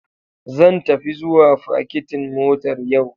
Zan tafi zuwa fakitin motar yau.